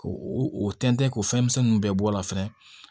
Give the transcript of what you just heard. K'o o tɛntɛn k'o fɛnmisɛnninw bɛɛ bɔ a la fɛnɛ